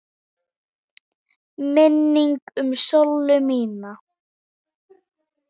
Minning um Sollu mína.